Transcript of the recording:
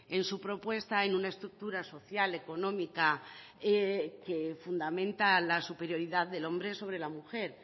en su propuesta en una estructura social económica que fundamenta la superioridad del hombre sobre la mujer